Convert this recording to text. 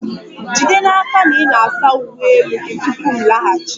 Jide n'aka na ị na-asa uwe elu gị tupu m laghachi!